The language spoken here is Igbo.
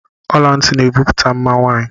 Ọlanti na ebupute mma nwaanyị.